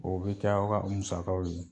O bɛ kɛ aw ka musakaw ye.